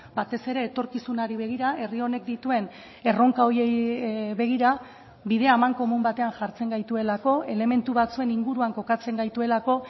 batez ere etorkizunari begira herri honek dituen erronka horiei begira bidea amankomun batean jartzen gaituelako elementu batzuen inguruan kokatzen gaituelako